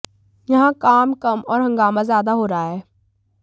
यहां काम कम और हंगामा ज्यादा हो रहा है